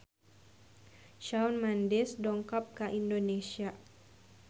Shawn Mendes dongkap ka Indonesia